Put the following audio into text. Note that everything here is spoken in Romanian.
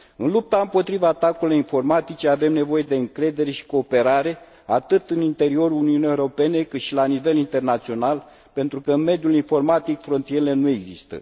În lupta împotriva atacurilor informatice avem nevoie de încredere și cooperare, atât în interiorul Uniunii Europene, cât și la nivel internațional, pentru că în mediul informatic frontierele nu există.